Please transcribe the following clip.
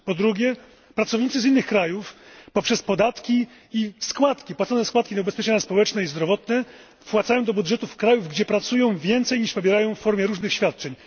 Po drugie, pracownicy z innych krajów poprzez podatki i płacone składki na ubezpieczenia społeczne i zdrowotne wpłacają do budżetów krajów, gdzie pracują, więcej, niż pobierają w formie różnych świadczeń.